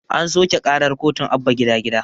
An soƙe ƙarar kotun abba gida gida